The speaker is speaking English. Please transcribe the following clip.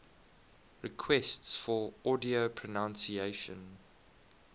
requests for audio pronunciation